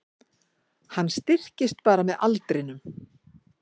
Hann styrkist bara með aldrinum